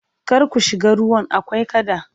kar ku shiga ruwan akwai kada!